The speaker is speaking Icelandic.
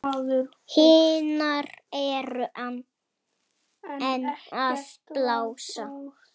Hinar eru enn að blása.